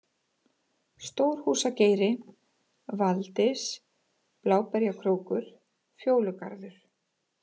Stórhúsgeiri, Valdys, Bláberjakrókur, Fjólugarður